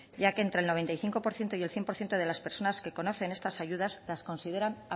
ya que entre el noventa y cinco por ciento y el cien por ciento de las personas que conocen estas ayudas las consideran